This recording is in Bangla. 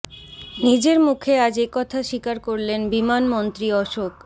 নিজের মুখে আজ এ কথা স্বীকার করলেন বিমানমন্ত্রী অশোক